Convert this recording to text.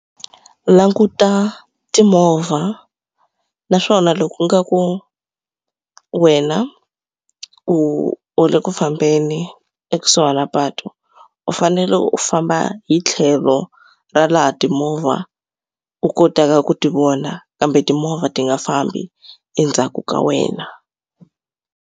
Languta timovha naswona loko u nga ku wena u u le ku fambeni ekusuhana patu u fanele u famba hi tlhelo ra laha timovha u kotaka ku ti vona kambe timovha ti nga fambi endzhaku ka wena.